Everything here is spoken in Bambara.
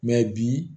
bi